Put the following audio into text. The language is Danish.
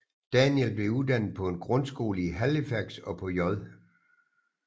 Daniel blev uddannet på en grundskole i Halifax og på J